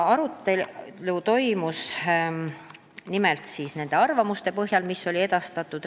Arutelu toimus nimelt arvamuste põhjal, mis olid edastatud.